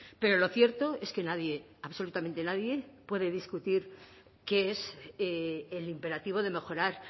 pero lo cierto es que nadie absolutamente nadie puede discutir qué es el imperativo de mejorar